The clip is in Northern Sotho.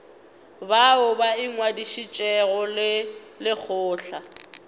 bao ba ingwadišitšego le lekgotla